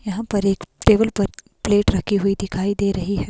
यहां पर एक टेबल पर प्लेट रखी हुई दिखाई दे रही है।